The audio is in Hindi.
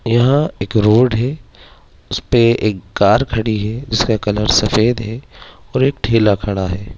यहाँ एक रोड है उसपे एक कार खड़ी है जिसका कलर सफ़ेद है और एक ठेला खड़ा है।